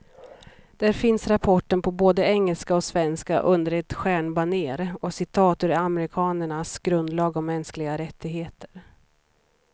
Där finns rapporten på både engelska och svenska, under ett stjärnbanér och citat ur amerikanernas grundlag om mänskliga rättigheter.